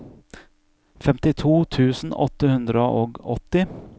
femtito tusen åtte hundre og åtti